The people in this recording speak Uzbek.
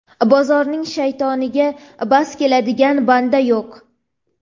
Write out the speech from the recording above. Bozorning shaytoniga bas keladigan banda yo‘q.